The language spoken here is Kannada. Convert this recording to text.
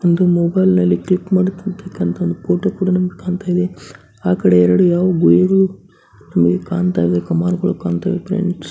ಒಂದು ಮೊಬೈಲ್ನಲ್ಲಿ ಕ್ಲಿಕ್ ಮಾಡಿರತಕ್ಕಂಥ ಒಂದು ಫೋಟೋ ಕೂಡ ನಮ್ಗ್ ಕಾಣ್ತಾ ಇವೆ. ಆಕಡೆ ಎರಡು ಕಾಣ್ತಾ ಇವೆ ಕಮಾನುಗಳು ಕಾಣ್ತಾ ಇವೆ ಫ್ರೆಂಡ್ಸ್ .